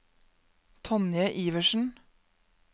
Tonje Iversen